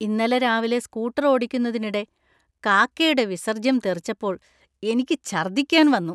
ഇന്നലെ രാവിലെ സ്കൂട്ടർ ഓടിക്കുന്നതിനിടെ കാക്കയുടെ വിസർജ്ജ്യം തെറിച്ചപ്പോൾ എനിക്ക് ഛർദ്ദിക്കാൻ വന്നു.